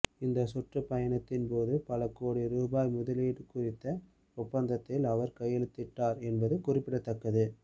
இந்த சுற்றுப்பயணத்தின் போது பல கோடி ரூபாய் முதலீடு குறித்த ஒப்பந்தங்களில் அவர் கையெழுத்திட்டார் என்பது குறிப்பிடத்தக்கது